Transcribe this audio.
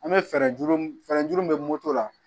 An bɛ fɛɛrɛ juru min fɛɛrɛ juru min bɛ moto la